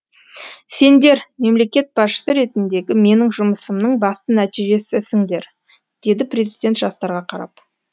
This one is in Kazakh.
сендер мемлекет басшысы ретіндегі менің жұмысымның басты нәтижесісіңдер деді президент жастарға қарап